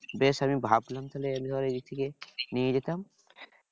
বেশ আমি ভাবছিলাম তাহলে এইবার এদিক থেকে নিয়ে যেতাম।